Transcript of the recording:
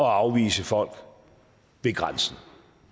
afvise folk ved grænsen